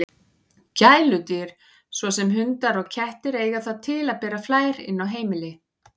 Gæludýr, svo sem hundar og kettir, eiga það til að bera flær inn á heimili.